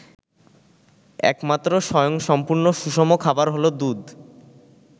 একমাত্র স্বয়ংসম্পূর্ণ সুষম খাবার হলো দুধ।